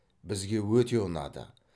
бізге өте ұнады